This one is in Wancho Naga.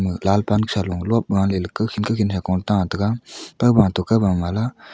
lal pan sa low lop gale le kawkhin kawkhin sa ko ta tega kowba to kawba to le.